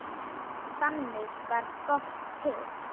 Þannig varð GOTT til.